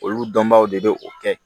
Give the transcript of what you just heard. Olu dɔnbaaw de bɛ o kɛ